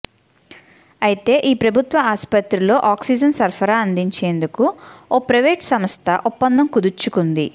అయితే ఈ ప్రభుత్వ ఆస్పత్రిలో ఆక్సిజన్ సరఫరా అందించేందుకు ఓ ప్రైవేట్ సంస్థ ఒప్పందం కుదుర్చుకుంది